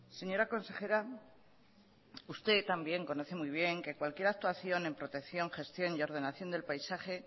señora consejera usted también conoce muy bien que cualquier actuación en protección gestión y ordenación del paisaje